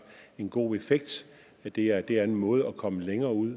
en god effekt det er det er en måde at komme længere ud